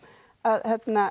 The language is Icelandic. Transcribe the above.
að